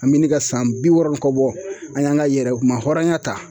An bɛ ne ka san bi wɔɔrɔ kɔ bɔ, an y'an ka yɛrɛ kuma hɔrɔnya ta